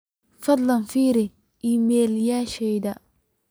fadhlan firi iimaylyasheyda